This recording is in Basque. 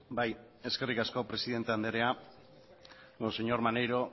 bai eskerrik asko presidente andrea señor maneiro